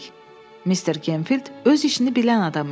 Mister Gemfild öz işini bilən adam idi.